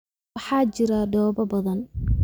Waxaa jira dhoobo badan